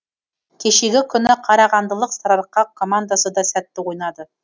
кешегі күні қарағандылық сарыарқа командасы да сәтті ойнады